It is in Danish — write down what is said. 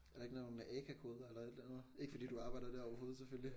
Er der ikke nogle AKA-koder eller et eller andet? Ikke fordi du arbejder der overhovedet selvfølgelig